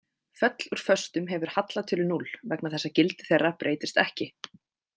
Föll úr föstum hefur hallatölu núll, vegna þess að gildi þeirra breytist ekki.